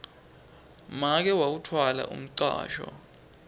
make wawutfwala umcwasho